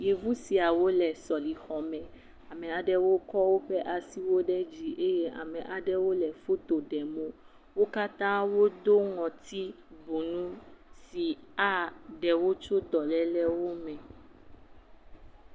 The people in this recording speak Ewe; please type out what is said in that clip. Yevu siawo le sɔlexɔme. Ame aɖewo kɔ woƒe asiwo ɖe dzi eye ame aɖewo le foto ɖem wo. Wo katã wodo ŋɔti bu nu si aɖewo tso dɔlelewo me.